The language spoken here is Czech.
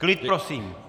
Klid prosím!